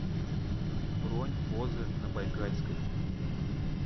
бронь позы на байкальской